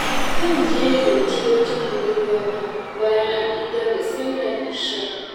Zan je zance wajen budurwata bayan an idar da sallar isha.